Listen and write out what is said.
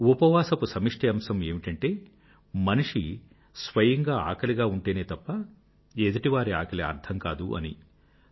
ఉపవాసపు సమిష్టి అంశం ఏమిటంటే మనిషి స్వయంగా ఆకలిగా ఉంటేనే తప్ప ఎదుటివారి ఆకలి అర్థం కాదు అని